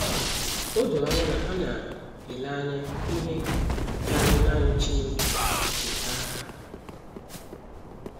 O doro anya na ha na - ele anya ihe karịrị nanị Chineke icheta aha ha.